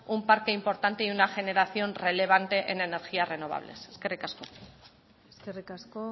un parque importante y una generación relevante en energías renovables eskerrik asko eskerrik asko